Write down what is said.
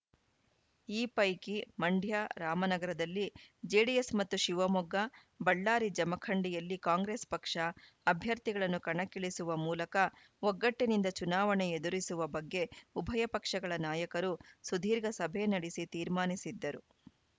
ಈ ಪೈಕಿ ಮಂಡ್ಯ ರಾಮನಗರದಲ್ಲಿ ಜೆಡಿಎಸ್‌ ಮತ್ತು ಶಿವಮೊಗ್ಗ ಬಳ್ಳಾರಿ ಜಮಖಂಡಿಯಲ್ಲಿ ಕಾಂಗ್ರೆಸ್‌ ಪಕ್ಷ ಅಭ್ಯರ್ಥಿಗಳನ್ನು ಕಣಕ್ಕಿಳಿಸುವ ಮೂಲಕ ಒಗ್ಗಟ್ಟಿನಿಂದ ಚುನಾವಣೆ ಎದುರಿಸುವ ಬಗ್ಗೆ ಉಭಯ ಪಕ್ಷಗಳ ನಾಯಕರು ಸುದೀರ್ಘ ಸಭೆ ನಡೆಸಿ ತೀರ್ಮಾನಿಸಿದ್ದರು